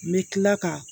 N bɛ tila ka